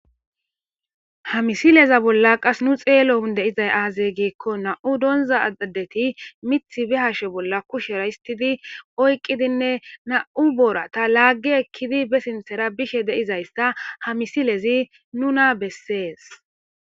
ha misileza bolla qas nu xeelo hundeizay aaze geekko na7u donza aadeti mith bi hashe bolla kushera histidi oyqidinne na7u boorata laaggi ekkidi be sintera bishe deizaysta ha misilezi nuna bessees